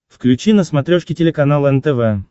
включи на смотрешке телеканал нтв